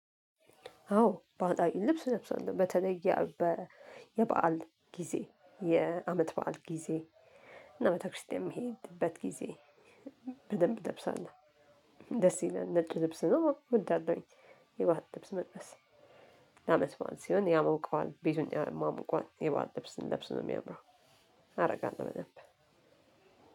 አዎ በአንጻሩ ልብስ ለብሷል በተለየ የበአል ጊዜ የአመት በዓል ጊዜ እና ቤተክርስቲያን የሚሄድበት ጊዜ በደንብ እለብሳለሁ ደስ ይለናል ነጭ ልብስ ነው እወዳለሁኝ የባዓል ልብስ መልበስ ለአመት በዓል ሲሆን ያመውቀዋል ቤቱን ያሟሙቀዎል። የባዓል ልብስ ልብስ ነው የሚያምረው አደርጋለሁ በደንብ